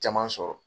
Caman sɔrɔ